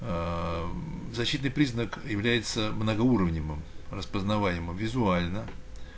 аа защитный признак является многоуровневым распознаванием визуально